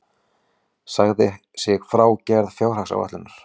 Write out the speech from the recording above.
Sagði sig frá gerð fjárhagsáætlunar